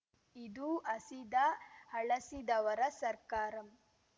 ಇದು ಹಸಿದ ಹಳಸಿದವರ ಸರ್ಕಾರ